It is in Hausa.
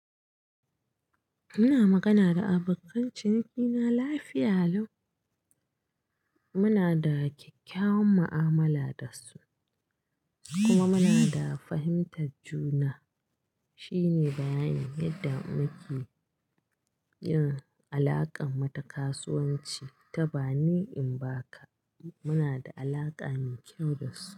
Muna magana da abokan cinikina lafiya lau. Muna da kyakkyawan mu'amala dasu kuma muna da fahimtar juna. Shine bayan yadda muke yin alakar mata kasuwanci ta bani in ba ka. Muna da alaƙa mai kyau dasu.